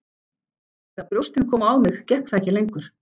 Eftir að brjóstin komu á mig gekk það ekki lengur.